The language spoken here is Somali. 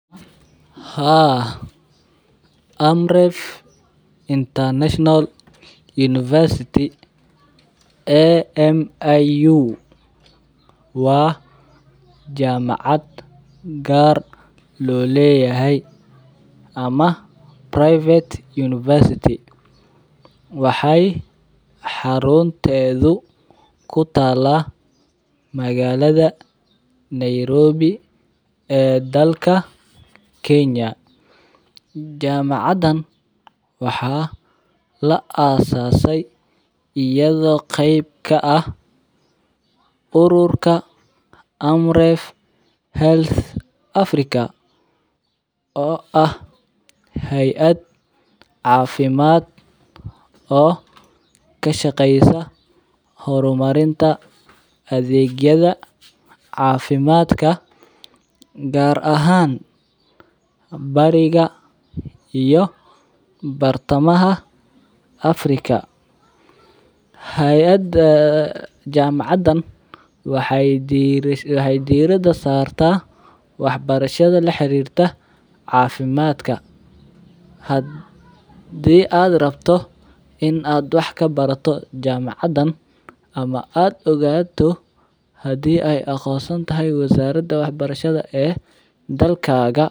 Haa Amref International University. A.M.I.U wa jamacad gar loleeyahay ama private University waxay xaruntedhu kutaala magalada Nairobi e dalka Kenya. Jamacadan waxa laasasay iyado qeyb ka ah uruurka Amref health Africa o ah hayaad cafimad o kashqeysa hormarinta adegyada cafimadka gar ahan bari iyo bartamaha Africa. Hayada jamacadan waxay dirada sarta waxbarshada la xarirta cafimadka hadi ad rabto in ad waxakabarato jamacadan ama ad ogaato hadi ay aqonsantahay wazarada waxbarashada dalkaga.